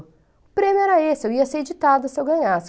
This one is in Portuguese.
O prêmio era esse, eu ia ser editada se eu ganhasse.